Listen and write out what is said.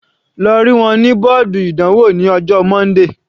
Lọ rí wọn ní bọ́ọ̀dù ìdánwò ní ọjọ́ Monday.